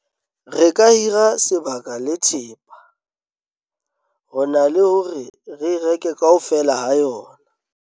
re ka hira sebaka le thepa ho na le hore re e reke kaofela ha yona